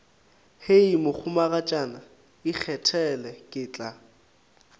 hei mohumagatšana ikgethele ke tla